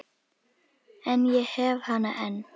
En ég hef hana enn.